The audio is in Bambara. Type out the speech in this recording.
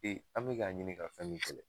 an mi k'a ɲini ka fɛn min kɛlɛ